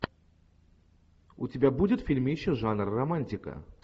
у тебя будет фильмище жанр романтика